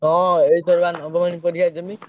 ହଁ ଏଇଥର ବା ନବମ ଶ୍ରେଣୀ ପରୀକ୍ଷା ଦେମି।